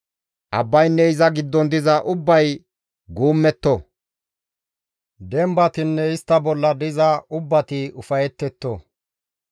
Abbaynne iza giddon diza ubbay guummetto; dembatinne istta bolla diza ubbati ufayetetto.